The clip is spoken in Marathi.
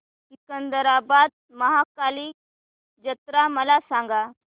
सिकंदराबाद महाकाली जत्रा मला सांगा